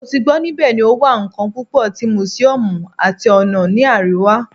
Mo ti gbọ nibẹ ni o wa kan pupo ti museums ati ona ni ariwa